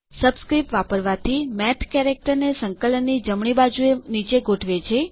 subscript વાપરવાથી math character આકડાં અથવાં શબ્દોને સંકલનની જમણી બાજુંએ નીચે ગોઠવે છે